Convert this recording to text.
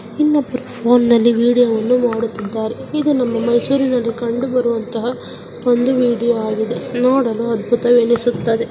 ಇನ್ನೊಬ್ಬರು ಫೋನ್ನಲ್ಲಿ ವಿಡಿಯೋವನ್ನು ನೋಡು ಮಾಡುತ್ತಿದ್ದಾರೆ ಇದು ನಮ್ಮ ಮೈಸೂರಿನಲ್ಲಿ ಕಂಡುಬರುವಂತಹ ಒಂದು ವಿಡಿಯೋ ಆಗಿದೆ ನೋಡಲಾ ಅದ್ಭುತವೆನಿಸುತ್ತದೆ --